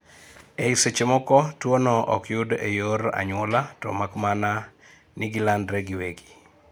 Ei sechemoko, tuo no okyud ee yor anyuola to mak mana ni gilandre giwegi